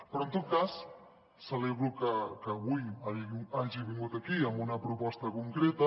però en tot cas celebro que avui hagi vingut aquí amb una proposta concreta